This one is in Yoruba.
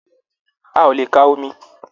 A o le kà omí.